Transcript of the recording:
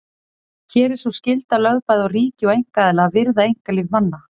Hér er sú skylda lögð bæði á ríki og einkaaðila að virða einkalíf manna.